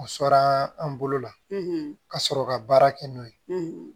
O sɔrɔ an bolo la ka sɔrɔ ka baara kɛ n'o ye